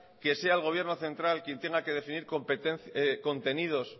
que sea el gobierno central quien tenga que decidir contenidos